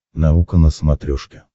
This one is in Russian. наука на смотрешке